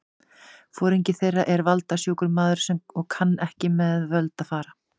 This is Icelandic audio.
Foringi þeirra er valda- sjúkur maður og kann ekki með völd að fara.